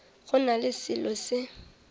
go na le selo se